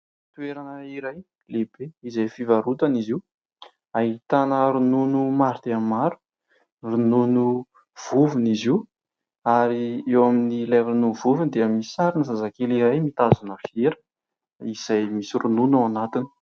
Toerana iray lehibe izay fivarotana izy io. Ahitana ronono maro dia maro, ronono vovony izy io ary eo amin'ny ilay ronono vovony dia misy sarina zazakely iray mitazona vera izay misy ronono ao anatiny.